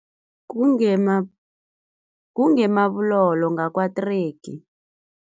Kunge-Marble Hall ngakwaTregi.